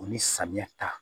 O ni samiya ta